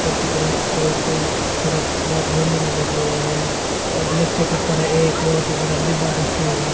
ऊपर की तरफ एक सड़क पर रेलिंग लगी हुई हैं और नीचे की तरह एक बहुत ही बड़ा डिब्बा दर्श्याया जा --